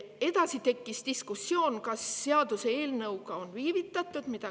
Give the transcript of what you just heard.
Edasi tekkis diskussioon, kas seaduseelnõuga on viivitatud.